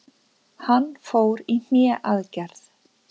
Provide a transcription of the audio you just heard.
Hann fór í hné aðgerð.